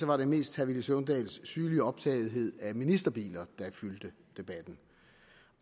var det mest herre villy søvndals synlige optagethed af ministerbiler der fyldte debatten